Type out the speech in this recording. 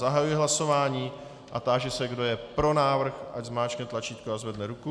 Zahajuji hlasování a táži se, kdo je pro návrh, ať zmáčkne tlačítko a zvedne ruku.